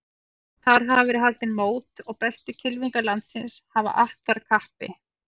Þar hafa verið haldin mót og bestu kylfingar landsins hafa att þar kappi.